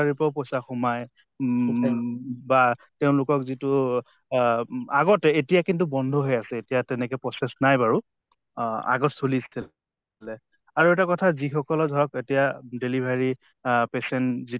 ৰ পাউ পইছা সোমায় উম বা তেওঁলোকক যিটো আহ উ আগতে এতিয়া কিন্তু বন্ধ হৈ আছে, এতিয়া তেনেকে process নাই বাৰু। অহ আগত চলিছিল। আৰু এটা কথা যি সকলে ধৰক এতিয়া delivery আহ patient যিটো